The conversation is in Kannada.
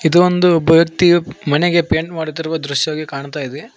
ಇದು ಒಂದು ಭಕ್ತಿಯು ಮನೆಗೆ ಪೈಂಟ್ ಮಾಡುತ್ತಿರುವ ದೃಶ್ಯವಾಗಿ ಕಾಣ್ತಾಯಿದೆ.